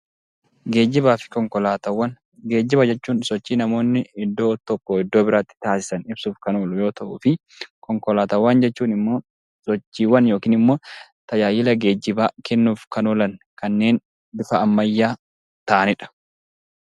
Geejjibaa fi konkolaataawwan Geejjiba jechuun sochii namoonni iddoo tokkoo iddoo biraatti taasisan ibsuuf kan oolu yoo ta'ufii; Konkolaataawwan jechuun immoo sochiiwwan yookiin immoo tajaajila geejjibaa kennuuf kan oolan kanneen bifa ammayyaa ta'ani dha.